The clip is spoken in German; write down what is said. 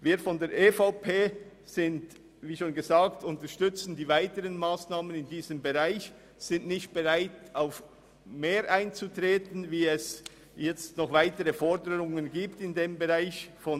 Wir von der EVP unterstützen also die Entlastungsmassnahmen der Regierung in diesem Bereich, doch treten wir nicht auf weitergehende Forderungen der SVP in diesem Bereich ein.